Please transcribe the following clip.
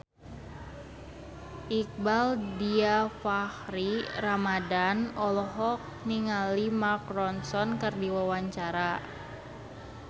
Iqbaal Dhiafakhri Ramadhan olohok ningali Mark Ronson keur diwawancara